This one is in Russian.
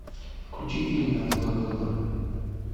включи фильм на твой выбор